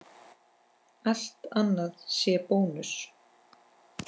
Allt annað sé bónus?